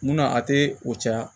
Munna a tɛ o caya